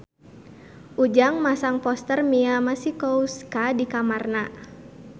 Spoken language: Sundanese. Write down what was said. Ujang masang poster Mia Masikowska di kamarna